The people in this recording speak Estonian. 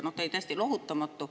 Ta oli täiesti lohutamatu.